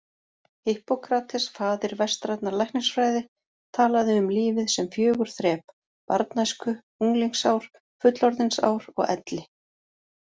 Hippókrates, faðir vestrænnar læknisfræði, talaði um lífið sem fjögur þrep: barnæsku, unglingsár, fullorðinsár og elli.